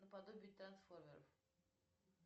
наподобие трансформеров